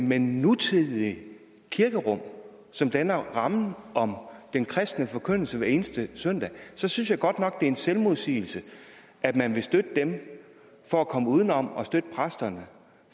men nutidige kirkerum som danner rammen om den kristne forkyndelse hver eneste søndag så synes jeg godt nok at det er en selvmodsigelse at man vil støtte dem for at komme uden om at støtte præsterne